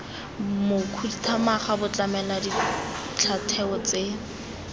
mokhuduthamaga bo tlamela dintlhatheo tse